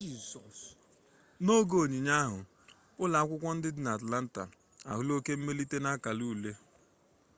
n'oge onyinye ahụ ụlọ akwụkwọ ndị dị na atlanta ahụla oke mmelite n'akara ule